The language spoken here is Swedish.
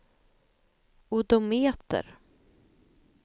odometer